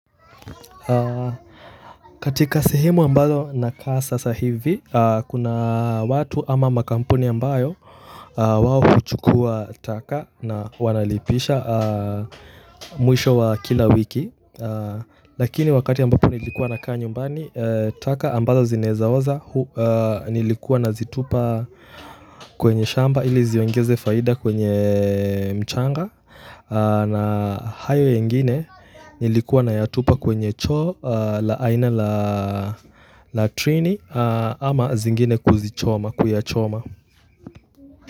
Katika sehemu ambazo nakaa sasa hivi kuna watu ama makampuni ambayo wao kuchukuwa taka na wanalipisha mwisho wa kila wiki lakini wakati ambapo nilikuwa naka nyumbani taka ambazo zinaezaoza nilikuwa nazitupa kwenye shamba ili ziongeze faida kwenye mchanga na hayo yengine nilikuwa nayatupa kwenye choo la aina latrini ama zingine kuzichoma kuyachoma.